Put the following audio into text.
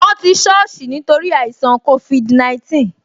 Won ti soosi nítorí àìṣàn covid 19